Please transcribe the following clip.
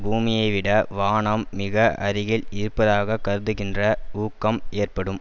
பூமியைவிட வானம் மிக அருகில் இருப்பதாக கருதுகின்ற ஊக்கம் ஏற்படும்